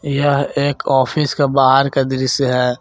यह एक ऑफिस का बाहर का दृश्य है।